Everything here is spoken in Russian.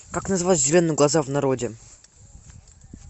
как называют зеленые глаза в народе